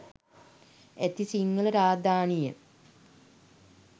ඇති සිංහල රාජධානිය